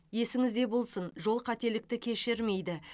есіңізде болсын жол қателікті кешірмейді